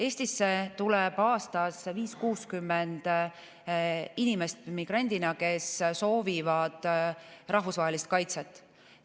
Eestisse tuleb aastas migrandina 50–60 inimest, kes soovivad rahvusvahelist kaitset.